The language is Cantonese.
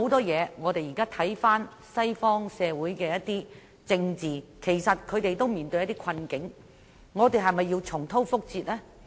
現在西方社會的政治均面對困境，我們是否要重蹈覆轍呢？